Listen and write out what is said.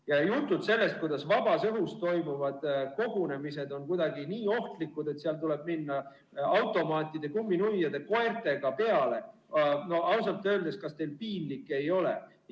Ja jutud sellest, kuidas vabas õhus toimuvad kogunemised on kuidagi nii ohtlikud, et seal tuleb minna automaatide, kumminuiade, koertega peale – ausalt öeldes, kas teil piinlik ei ole?